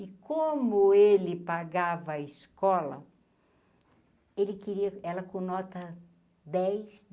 E como ele pagava a escola, ele queria, ela com nota dez.